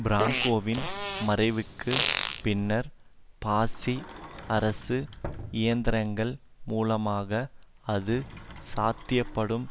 பிராங்கோவின் மறைவுக்கு பின்னர் பாசிச அரசு இயந்திரங்கள் மூலமாக அது சாத்தியப்படும்